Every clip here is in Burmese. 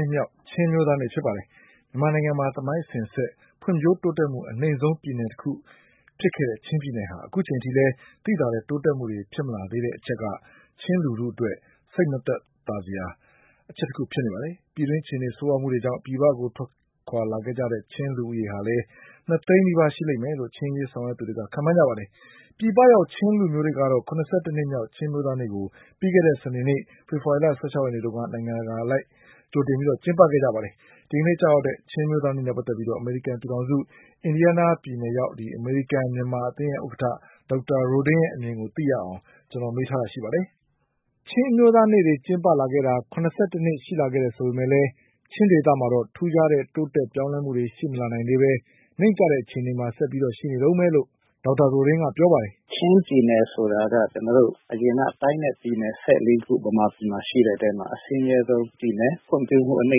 ှစ်မြောက် ချင်းအမျိုးသားနေ့ ဖြစ်ပါတယ်။ မြန်မာနိုင်ငံမှာ ဖွံ့ဖြိုးတိုးတက်မှု အနိမ့်ဆုံးပြည်နယ်တခုဖြစ်တဲ့ ချင်းပြည်နယ်ဟာ အခုချိန်ထိ သိသာတဲ့တိုးတက်မှုတွေ ဖြစ်မလာသေးတဲ့အချက်က ချင်းလူထုအတွက် စိတ်မသက်မသာ ဖြစ်စရာအချက်တခုပါ။ ပြည်တွင်းအခြေအနေဆိုးဝါးမှုကြောင့် ပြည်ပကိုထွက်လာခဲ့ကြတဲ့ ချင်းလူဦးရေဟာ ၂သိန်းနီးပါးရှိမယ်လို့ ချင်းအရေးဆောင်ရွက်သူတွေက ခန့်မှန်းကြပါတယ်။ ပြည်ပရောက်ချင်းလူမျိုးတွေကတော့ ၇၁နှစ်မြောက်ချင်း အမျိုးသားနေ့ကို ပြီးခဲ့တဲ့ စနေနေ့ ဖေဖေါ်ဝါရီလ ၁၆ ရက်နေ့တုန်းက နိုင်ငံတကာအလိုက် ကျင်းပခဲ့ကြပါတယ်။ ဒီကနေ့ ကျရောက်တဲ့ ချင်းအမျိုးသားနေ့နဲ့ ပတ်သက်ပြီး အမေရိကန်ပြည်ထောင်စု အင်ဒီယားနားပြည်နယ် အမေရိကန်မြန်မာ အသင်းရဲ့ ဥက္ကဌ ဒေါက်တာရိုဒင်းရဲ့အမြင်ကိုသိရအောင် ကိုကျော်အောင်လွင် မေးမြန်းထားပါတယ်။ ချင်းအမျိုးသားနေ့တွေကျင်းပလာခဲ့တာ ၇၁နှစ် ရှိလာခဲ့ပေမဲ့လည်း ချင်းဒေသမှာ ထူးခြားတဲ့ပြောင်းလဲမှုတွေရှိမလာနိုင်သေးပဲ နိမ့်ကျတဲ့အခြေအနေမှာ ဆက်ပြီးရှိနေတုန်းပဲလို့ ဒေါက်တာ ရိုဒင်းကပြောပါတယ်။ “ချင်းပြည်နယ်ဆိုတာက ကျနော်တို့ အရင်က တိုင်းနဲ့ ပြည်နယ် ၁၄ ခု မြန်မာပြည်မှာ ရှိတဲ့အထဲမှာ အဆင်းရဲဆုံးပြည်နယ် ဖွံ့ဖြိုးမှု အနိ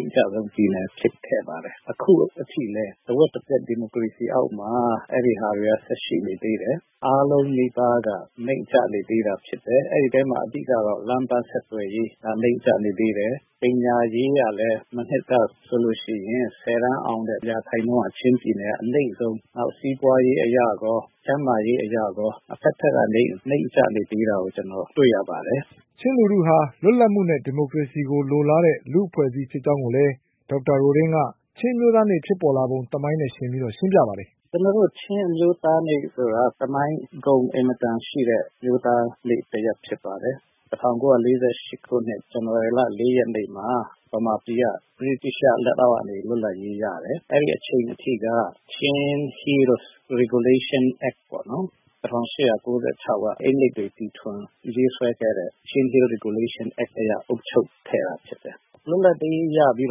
မ့်ကျဆုံးပြည်နယ်ဖြစ်ခဲ့ပါတယ်။ အခုအထိလည်း တဝက်တပျက် ဒီမိုကရေစီ အောက်မှာ အဲဒါတွေက ဆက်ရှိနေသေးတယ်။ အားလုံးနီးပါးက နိမ့်ကျနေသေးတာဖြစ်တယ်။ အဲဒီအထဲမှာ အဓိကတော့ လမ်းပန်းဆက်သွယ်ရေး နိမ့်ကျနေသေးတယ်။ ပညာရေးကလည်း မနှစ်ကဆိုရင် ၁၀ တန်းအောင်ရာခိုင်နှုန်းက ချင်းပြည်နယ်က အနိမ့်ဆုံး နောက်စီးပွားရေးအရရော ကျန်းမာရေးအရရော အဘက်ဘက်က နိမ့်ကျနေသေးတာကို ကျနော်တွေ့ရပါတယ်။” ချင်းလူထုဟာ လွတ်လပ်မှုနဲ့ ဒီမိုကရေစီကို လိုလားတဲ့လူ့ အဖွဲ့အစည်း ဖြစ်ကြောင်းကိုလည်း ဒေါက်တာရိုဒင်းက ချင်းအမျိုးသားနေ့ ဖြစ်ပေါ်လာပုံသမိုင်းနဲ့ယှဉ်ပြီး ရှင်းပြပါတယ်။ “ကျနော်တို့ ချင်းအမျိုးသားနေ့ဆိုတာ သမိုင်းဂုဏ်အင်မတန်ရှိတဲ့ အမျိုးသားနေ့တရပ်ဖြစ်ပါတယ်။ ၁၉၄၈ ခုနှစ် ဇန်နဝါရီလ ၄ ရက်နေ့မှာ မြန်မာပြည်က အင်္ဂလိပ် လက်အောက်ကနေ လွတ်လပ်ရေးရတယ်။ အဲဒီအချိန်အထိက Chin Hills Regulation Act ၁၈၉၆ က ရေးဆွဲခဲ့တဲ့ အက်အရ အုပ်ချုပ်ခဲ့တာဖြစ်တယ်။ လွပ်လပ်ရေးရပြီး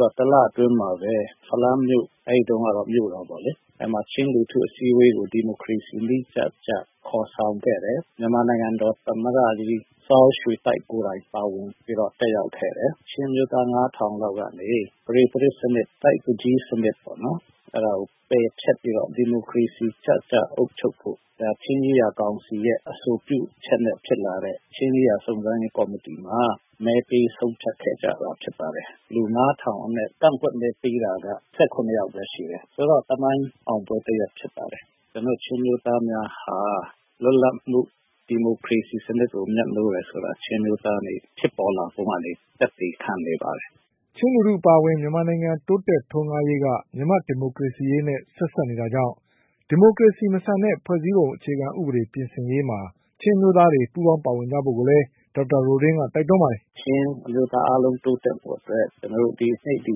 တော့ ၁ လအတွင်းမှာ ဖလမ်းမြို့တော်မှာ ချင်းလူထုအစည်းအဝေးကို ဒီမိုကရေစီနည်းကျကျ ဖော်ဆောင်ခဲ့တယ်။ မြန်မာနိုင်ငံတော်သမ္မတကြီး စပ်ရွှေသိုက် ကိုယ်တိုင်ပါဝင်တက်ရောက်ခဲ့တယ် ချင်းအမျိုးသား ၅၀၀၀ လောက်က ပဒေသရာဇ် စနစ်ကို ပယ်ဖျက်ပြီးတော့ ဒီမိုကရေစီကျကျအုပ်ချုပ်ဖို့ ချင်းရေးရာကောင်စီအဆိုပြုချက်နဲ့ ဖြစ်လာတဲ့ ချင်းရေးရာစုံစမ်းရေးကော်မတီမှာ မဲပေးဆုံးဖြတ်ခဲ့ကြတာဖြစ်ပါတယ်။ လူ ၅၀၀၀ အနက် ကန့်ကွက်မဲပေးတာက ၁၇ ယောက်ပဲရှိတယ်ဆိုတော့ ၊ ဒါက သမိုင်းအောင်ပွဲတရပ်ဖြစ်ပါတယ်။ ဒါကြောင့် ချင်းအမျိုးသားများဟာ လွတ်လပ်မှု ဒီမိုကရေစီစနစ်ကို မြတ်နိုးတယ်ဆိုတာ ချင်းအမျိုးသားနေ့ ဖြစ်ပေါ်လာပုံကနေ သက်သေခံနေပါတယ်။” ချင်းလူထုအပါအဝင် မြန်မာနိုင်ငံတိုးတက်ထွန်းကားရေးက မြန်မာ့ဒီမိုကရေစီရေးနဲ့ ဆက်စပ်နေတာကြောင့် ဒီမိုကရေစီမဆန်တဲ့ ဖွဲ့စည်းပုံဥပဒေပြင်ဆင်ရေးမှာ ချင်းအမျိုးသားတွေ ပူးပေါင်းပါဝင်ကြဖို့လည်း ဒေါက်တာရိုဒင်းက တိုက်တွန်းပါတယ်။ “ချင်းအမျိုးသားများ အားလုံး တိုးတက်ဖို့အတွက် ဒီနေ့ ဒီ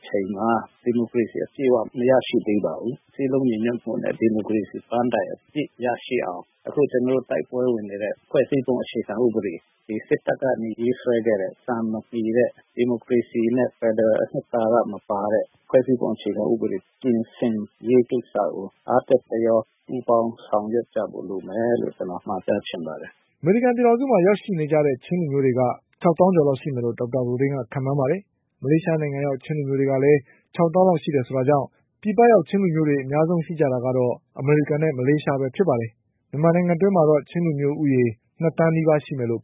အချိန်မှာ ဒီမိုကရေစီအပြည့်အ၀ မရရှိသေးပါဘူး။ စည်းလုံးမှုနဲ့ ဒီမိုကရေစီအပြည့် ပန်းတိုင်ရရှိအောင် အခုကျနော်တို့ တိုက်ပွဲဝင်နေတဲ့ ဖွဲ့စည်းပုံအခြေခံဥပဒေ ဒီစစ်တပ်ကနေ ရေးဆွဲခဲ့တဲ့ စံမမှီတဲ့ ဒီမိုကရေစီအနှစ်သာရ မပါတဲ့ဖွဲ့စည်းပုံအခြေခံဥပဒေ ပြင်ဆင်ရေးကိစ္စကို အားတက်သရော ပူးပေါင်းဆောင်ရွက်ကြဖို့ လိုမယ်လို့ ကျနော်မှာကြားချင်ပါတယ်။” အမေရိကန်ပြည်ထောင်စုမှာရောက်ရှိ နေကြတဲ့ ချင်းလူမျိုးက ၆၀၀၀၀ ကျော် လောက်ရှိမယ်လို့ ဒေါက်တာရိုဒင်းကခန့်မှန်းပါတယ်။ မလေးရှားနိုင်ငံ ရောက်ချင်းလူ မျိုးတွေကလည်း ၆သောင်းလောက်ရှိတယ်ဆိုတာကြောင့် ပြည်ပရောက်ချင်း လူမျိုးတွေအများဆုံး ရှိကြတာကတော့ အမေရိကန်နဲ့ မလေးရှားပဲဖြစ်ပါတယ်။ မြန်မာနိုင်ငံအတွင်းမှာတော့ ချင်းလူမျိုးဦးရေ ၂သန်း နီးပါးရှိမယ်လို့